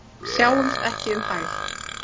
Sjáumst ekki um hæl.